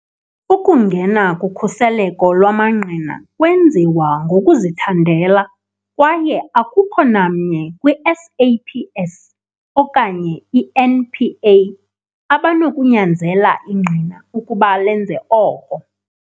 Ukungena kukhuseleko lwamangqina kwenziwa ngokuzithandela, kwaye akukho namnye kwi-SAPS okanye i-NPA abanokunyanzela ingqina ukuba lenze oko.